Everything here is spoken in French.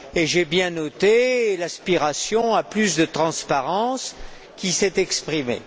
J'ai bien noté l'aspiration à plus de transparence qui s'est exprimée.